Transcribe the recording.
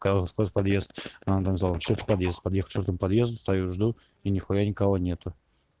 сколько подъезд подъезд подъезд у подъезда стою жду и нехуя никого нету